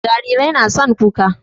Jarirai na son kuka